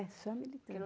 É, só à militância.